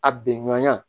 A bɛnɲa